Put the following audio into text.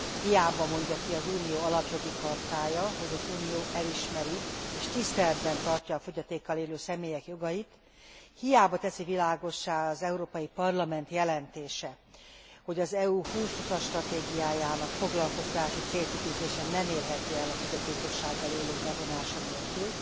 Hiába mondja ki az Unió Alapjogi Chartája, hogy az Unió elismeri és tiszteletben tartja a fogyatékkal élő személyek jogait, hiába teszi világossá az Európai Parlament jelentése, hogy az Európa 2020 as stratégiájának foglalkoztatási célkitűzése nem érhető el a fogyatékossággal élők bevonása nélkül,